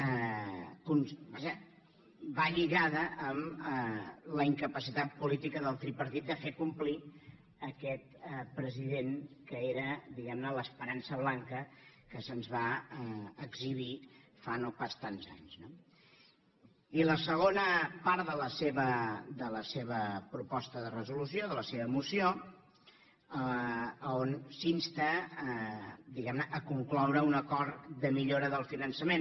vaja va lligada amb la incapacitat política del tripartit de fer complir aquest president que era diguem ne l’esperança blanca que se’ns va exhibir fa no pas tants d’anys no i la segona part de la seva moció on s’insta diguem ne a concloure un acord de millora del finançament